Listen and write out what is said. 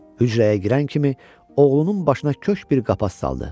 Hücrəyə girən kimi oğlunun başına köşk bir qapa saldı.